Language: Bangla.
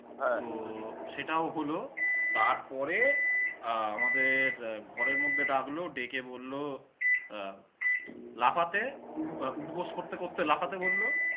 তো সেটাও হল, তারপরে আহ আমাদের আহ ঘরের মধ্যে ডাকল, ডেকে বলল, আহ লাফাতে উ~ আহ উঠবস করতে করতে লাফাতে বলল,